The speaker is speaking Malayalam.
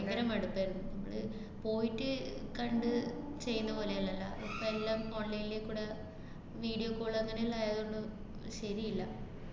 ഭയങ്കര മടുപ്പായിരുന്നു. മ്മള് പോയിട്ട് കണ്ട് ചെയ്യുന്നപോലെയല്ലല്ലാ, ഇപ്പ എല്ലാം online ല് കൂടെ video call അങ്ങനെയെല്ലാം ആയതുകൊണ്ട് ശരീല്ല.